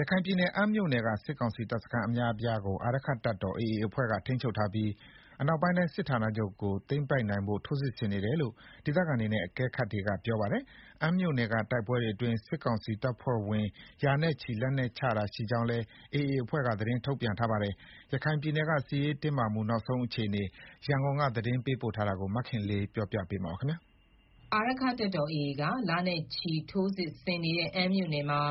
ရခိုင်ပြည်နယ် အမ်းမြို့နယ်က စစ်ကောင်စီတပ်စခန်းအများအပြားကို အာရက္ခတပ်တော် AA အဖွဲ့က ထိန်းချုပ်ထားပြီး အနောက်ပိုင်းတိုင်းစစ်ဌာနချုပ်ကို သိမ်းပိုက်နိုင်ဖို့ ထိုးစစ်ဆင်နေတယ်လို့ ဒေသခံတွေနဲ့ အကဲခတ်တွေက ပြောပါတယ်။ အမ်းမြို့နယ်တိုက်ပွဲတွေအတွင်း စစ်ကောင်စီတပ်ဖွဲ့ဝင် ရာနဲ့ချီ လက်နက်ချတာရှိခဲ့ကြောင်းလည်း AA အဖွဲ့က သတင်းထုတ်ပြန်ထားတာပါ။ ရခိုင်ပြည်နယ်က စစ်ရေးတင်းမာမှု နောက်ဆုံးအခြေအနေ ရန်ကုန်က သတင်းပေးပို့ ထားတာကို မခင်လေး တင်ပြထားပါတယ်။ အာရက္ခတပ်တော် AA က လနဲ့ချီ ထိုးစစ်ဆင်နေတဲ့ အမ်းမြို့နယ်မှာ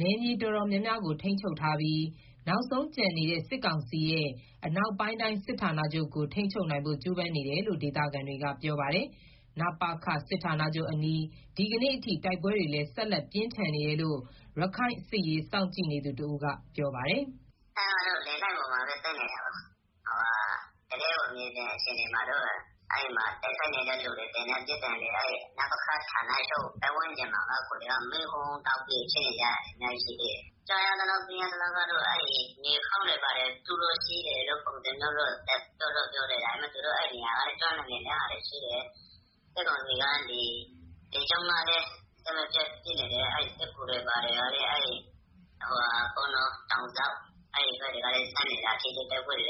နယ်မြေတော်တော်များများကို ထိန်းချုပ်ထားပြီး နောက်ဆုံးကျန်နေတဲ့ စစ်ကောင်စီရဲ့ အနောက်ပိုင်းတိုင်းစစ်ဌာနချုပ်ကို ထိန်းချုပ်နိုင်ဖို့ ကြိုးပမ်းနေတယ်လို့ ဒေသခံတွေက ပြောပါတယ်။ နပခ စစ်ဌာနချုပ်အနီး ဒီကနေ့အထိ တိုက်ပွဲတွေလည်း ဆက်လက် ပြင်းထန်နေတယ်လို့ရခိုင်စစ်ရေးစောင့်ကြည့်နေသူတဦးက ပြောပါတယ်။ “အမ်းကတော့ လေလိုင်းပေါ်မှာပဲသိမ်းနေကြတာ။ တကယ့်ကို မြေပြင်အခြေအနေမှာတော့ တိုက်ခိုက် နေတဲ့သူတွေ၊ သေနတ်ပစ်သံတွေ နပခ ဌာနချုပ်ပတ်ဝန်းကျင်မှာ မီးဟုန်းဟုန်းတောက် နေတာ။ ကြားရသလောက်တော့ မြေအောက်ဂူတွေ တူးလို့ရှိတယ်လို့ ကြားရတယ်။ သူတို့ အဲဒီကနေ ပြီးတော့ ခုခံနေတာရှိတယ်။ စစ်ကောင်စီက လေကြောင်းကလည်း အဆက်မပြတ်ပစ်နေတယ်။ စစ်ကူတွေ လည်း တောင်ဇောက်ဘက်ကနေ ဆင်းနေတော့ အဲဒီဘက်တွေလည်း ထိတွေ့တိုက်ပွဲဖြ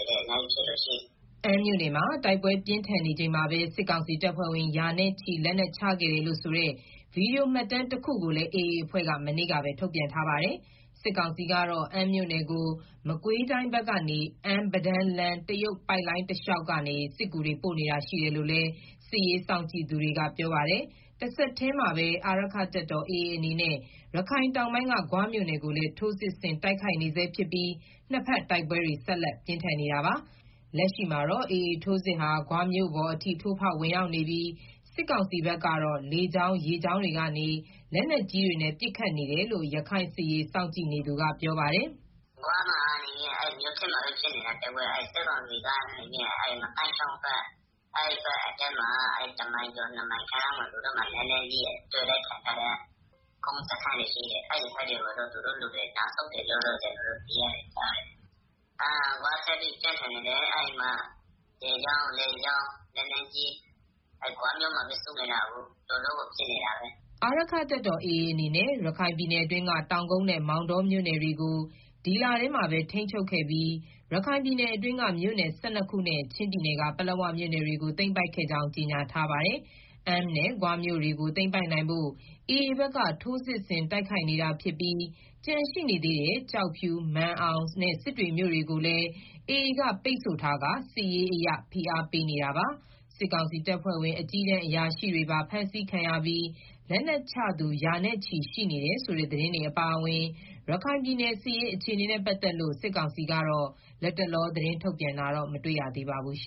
စ် နေတာရှိတယ်။” အမ်းမြို့နယ်မှာ တိုက်ပွဲပြင်းထန်နေချိန်မှာပဲ စစ်ကောင်စီတပ်ဖွဲ့ဝင် ရာနဲ့ချီ လက်နက်ချခဲ့တယ်လို့ဆိုတဲ့ ဗွီဒီယိုမှတ်တမ်းတခုကိုလည်း AA အဖွဲ့က မနေ့ကပဲ ထုတ်ပြန်ထားပါတယ်။ စစ်ကောင်စီကတော့ အမ်းမြို့နယ်ကို မကွေးတိုင်းဘက်ကနေ အမ်း-ပဒန်းလမ်း တရုတ်ပိုက်လိုင်း တလျှောက်ကနေ စစ်ကူတွေ ပို့နေတာရှိတယ်လို့လည်း စစ်ရေးစောင့်ကြည့်သူတွေကပြောပါတယ်။ တဆက်တည်းမှာပဲ အာရက္ခတပ်တော် AA အနေနဲ့ ရခိုင်တောင်ပိုင်းက ဂွမြို့နယ်ကိုလည်း ထိုးစစ်ဆင် တိုက်ခိုက်နေဆဲဖြစ်ပြီး နှစ်ဘက်တိုက်ပွဲတွေ ဆက်လက်ပြင်းထန်နေတာပါ။ လက်ရှိမှာတော့ AA ထိုးစစ်ဟာ ဂွမြို့ပေါ်အထိ ထိုးဖောက်ဝင်ရောက်နေပြီး စစ်ကောင်စီဘက်က လေကြောင်း၊ ရေကြောင်းတွေကနေ လက်နက်ကြီးတွေနဲ့ ပစ်ခတ်နေတယ်လို့ ရခိုင်စစ်ရေးစောင့်ကြည့်နေသူကပြောပါတယ်။ “ဂွမှာတော့ မြို့ထဲမှာပဲ ဖြစ်နေတာ။ တိုက်ပွဲက၊ စစ်ကောင်စီကတော့ အဲဒီငသိုင်းချောင်းဘက်အထွက် တမိုင်ကျော် နှစ်မိုင်ကျော်လောက်မှာ လက်နက်ကြီးစခန်းတွေရှိတယ်။ အဲဒီဘက်ကို သူတို့လူတွေ နောက်ဆုတ်တယ်လို့တော့ ကျနော်တို့ ကြားတယ်။ ဂွက ဆက်ပြီးတော့ ပြင်းထန်နေတယ်။ အဲဒီမှာ လေကြောင်း၊ ရေကြောင်း လက်နက်ကြီးတွေ ဂွမြို့မှာပဲ စုနေတာ။ အခု တော်တော့ကို ပြင်းထန်နေ တာပဲအခု။” အာရက္ခတပ်တော်AAအနေနဲ့ ရခိုင်ပြည်နယ်အတွင်းက တောင်ကုတ်နဲ့မောင်တောမြို့နယ်တွေကို ဒီလထဲ မှာပဲ ထိန်းချုပ်ခဲ့ပြီး ရခိုင်ပြည်နယ်အတွင်းက မြို့နယ် ၁၂ခုနဲ့ ချင်းပြည်က ပလက်ဝမြို့နယ်တွေကို သိမ်းပိုက်ခဲ့ကြောင်း ကြေညာထားပါတယ်။ အမ်းနဲ့ ဂွမြို့ကို သိမ်းပိုက်နိုင်ဖို့ AAဘက်က ထိုးစစ်တိုက်ခိုက်နေတာဖြစ်ပြီး ကျန်ရှိနေသေးတဲ့ ကျောက်ဖြူ၊ မာန်အောင်နဲ့ စစ်တွေမြို့နယ်ကိုလည်း AA က ပိတ်ဆို့ထားပြီး စစ်ရေးအရ ဖိအားပေး နေတာပါ။ စစ်ကောင်စီတပ်ဖွဲ့ဝင် အကြီးတန်းအရာရှိတွေပါ ဖမ်းဆီးခံရပြီး လက်နက်ချသူ ရာနဲ့ချီ ရှိနေတယ်ဆိုတဲ့ သတင်းတွေ အပါအဝင် ရခိုင်ပြည်နယ် စစ်ရေးအခြေအနေနဲ့ပတ်သက်လို့ စစ်ကောင်စီက လတ်တလော သတင်းထုတ်ပြန်တာတော့ မတွေ့ရသေးပါဘူး။